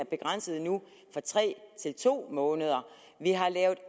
begrænset fra tre til to måneder vi har lavet